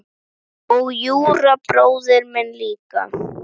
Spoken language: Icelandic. Og Júra bróðir minn líka.